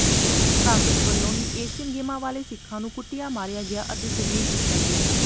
ਕਾਂਗਰਸ ਵਲੋਂ ਹੀ ਏਸ਼ੀਅਨ ਗੇਮਾਂ ਵੇਲੇ ਸਿੱਖਾਂ ਨੂੰ ਕੁੱਟਿਆ ਮਾਰਿਆ ਗਿਆ ਅਤੇ ਜਲੀਲ ਕੀਤਾ ਗਿਆ